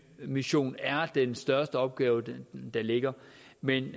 mission er den største opgave der ligger men